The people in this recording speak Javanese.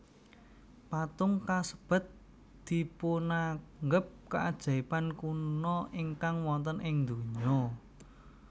Patung kasebat dipunanggep kaajaiban kuna ingkang wonten ing dunya